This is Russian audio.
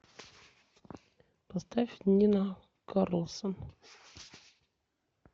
поставь нина карлссон